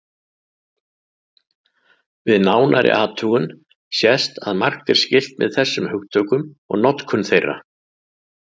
Við nánari athugun sést að margt er skylt með þessum hugtökum og notkun þeirra.